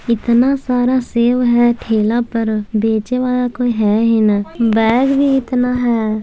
इतना सारा सेब है ठेला पर बेचे वाला कोई है ही ना बैग भी इतना है।